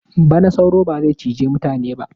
Bana sauro ba zai cije mutane ba.